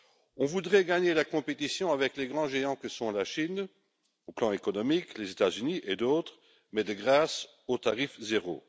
L'on voudrait gagner la course contre les grands géants que sont la Chine, au plan économique, les États Unis et d'autres, mais de grâce, au tarif zéro.